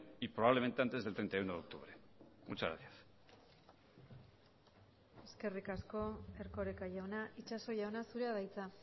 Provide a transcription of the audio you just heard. y probablemente antes del treinta y uno de octubre muchas gracias eskerrik asko erkoreka jauna itxaso jauna zurea da hitza